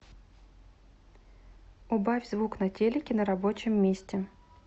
убавь звук на телике на рабочем месте